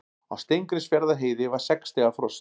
Á Steingrímsfjarðarheiði var sex stiga frost